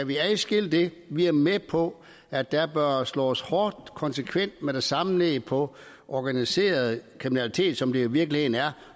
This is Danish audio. vi kan adskille det er vi med på at der bør slås hårdt og konsekvent og med det samme ned på organiseret kriminalitet som det jo i virkeligheden er